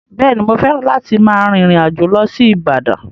Bẹ́ẹ̀ ni, mo fẹ́ràn láti máa rìn ìrìn àjò lọ sí Ibadan.